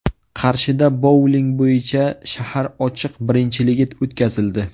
Qarshida bouling bo‘yicha shahar ochiq birinchiligi o‘tkazildi.